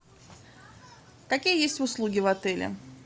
какие есть услуги в отеле